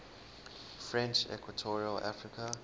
french equatorial africa